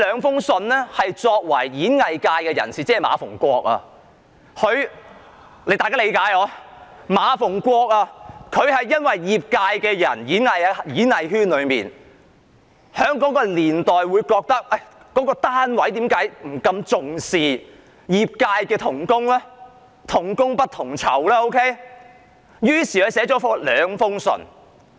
田漢作為演藝界的代表——即今天的馬逢國議員的角色，他覺得演藝界在那個年代不被重視，業界同工"同工不同酬"，於是便寫了兩封信。